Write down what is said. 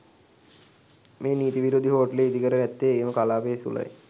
මෙම නීති විරෝධී හෝටලය ඉදිකර ඇත්තේ එම කලාපය තුළයි.